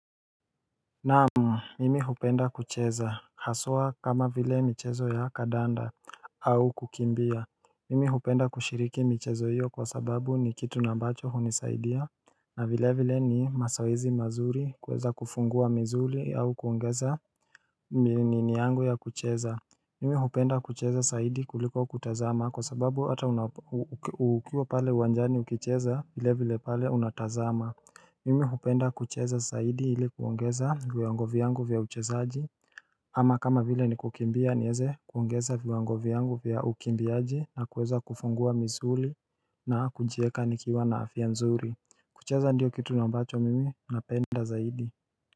Naam, mimi hupenda kucheza, haswa kama vile michezo ya kadanda au kukimbia Mimi hupenda kushiriki michezo hiyo kwa sababu ni kitu na ambacho hunisaidia na vile vile ni masoezi mazuri kweza kufungua mzuli au kuongeza nini yangu ya kucheza Mimi hupenda kucheza saidi kuliko kutazama kwa sababu ata ukiwa pale uwanjani ukicheza vile vile pale unatazama Mimi hupenda kucheza zaidi ili kuongeza viwango vyangu vya uchezaaji ama kama vile ni kukimbia nieze kuongeza viwango vyangu vya ukimbiaji na kuweza kufungua misuli na kujieka nikiwa na afia nzuri kucheza ndiyo kitu na ambacho mimi napenda zaidi.